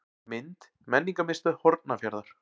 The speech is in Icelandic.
Mynd: Menningarmiðstöð Hornafjarðar.